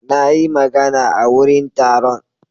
Na yi magana a wurin taron.